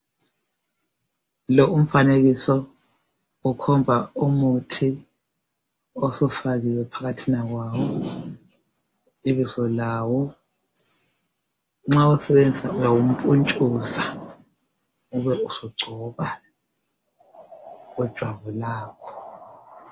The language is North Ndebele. Lo umfanekiso ukhomba umuthi osufakiwe phakathina kwawo Ibizo lawo .Nxa uwusebenzisa uyawumpuntshuza ubesugcoba kujwabu lakho